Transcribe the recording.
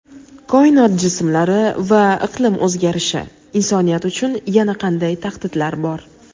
koinot jismlari va iqlim o‘zgarishi: insoniyat uchun yana qanday tahdidlar bor?.